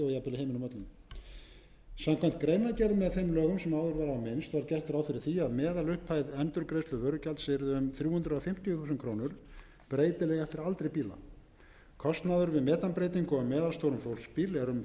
öllum samkvæmt greinargerð með lögum sem áður var á minnst var gert ráð fyrir að meðalupphæð endurgreiðslu vörugjalds yrði um þrjú hundruð fimmtíu þúsund krónur breytileg eftir aldri bíla kostnaður við metanbreytingu á meðalstórum fólksbíl er um